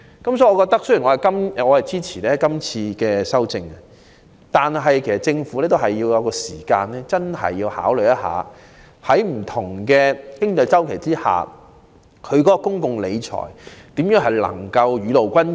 我雖然支持今次提出的修正案，但卻認為政府要認真考慮如何在不同的經濟周期下，在公共理財方面做到雨露均霑。